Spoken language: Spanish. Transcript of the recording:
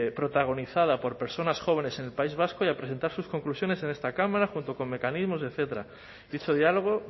protagonizada por personas jóvenes en el país vasco y a presentar sus conclusiones en esta cámara junto con mecanismos etcétera dicho diálogo